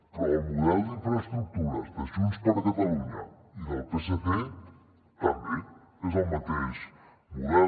però el model d’infraestructures de junts per catalunya i del psc també és el mateix model